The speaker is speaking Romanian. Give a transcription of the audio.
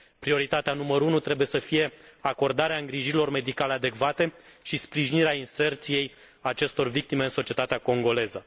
Prioritatea numărul unu trebuie să fie acordarea îngrijirilor medicale adecvate și sprijinirea inserției acestor victime în societatea congoleză.